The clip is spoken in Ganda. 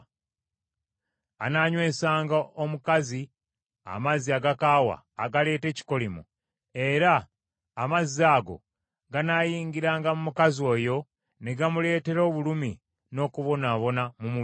Anaanywesanga omukazi amazzi agakaawa agaleeta ekikolimo, era amazzi ago ganaayingiranga mu mukazi oyo ne gamuleetera obulumi n’okubonaabona mu mubiri.